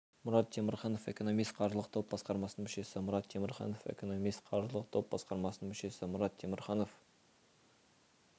мұрат темірханов экономист қаржылық топ басқармасының мүшесі мұрат темірханов экономист қаржылық топ басқармасының мүшесі мұрат темірханов